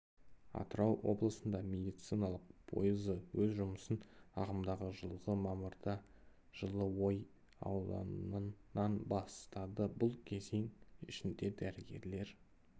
атырау облысында медициналық пойызы өз жұмысын ағымдағы жылғы мамырда жылыой ауданынан бастады бұл кезең ішінде дәрігерлер